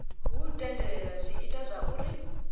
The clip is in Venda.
hu tendelela zwi ita zwauri